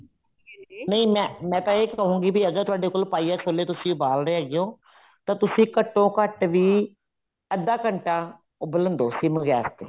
ਨਹੀਂ ਮੈਂ ਤਾਂ ਇਹ ਕਹੂੰਗੀ ਅਗਰ ਤੁਹਾਡੇ ਕੋਲ ਪਾਈਆ ਛੋਲੇ ਤੁਸੀਂ ਉਬਾਲ ਰਹੇ ਹੈਗੇ ਹੋ ਤਾਂ ਤੁਸੀਂ ਘੱਟੋ ਘੱਟ ਵੀ ਅੱਧਾ ਘੰਟਾ ਉਬਲਣ ਦੋ sim ਗੈਸ ਤੇ